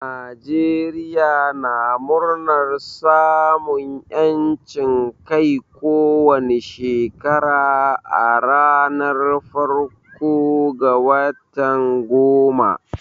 Najeriya na murnar samun yancin Kai ko wani Shekara a ranar farko ga watan goma.